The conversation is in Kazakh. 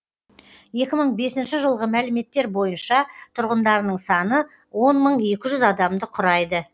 екі мың бесінші жылғы мәліметтер бойынша тұрғындарының саны он мың екі жүз адамды құрайды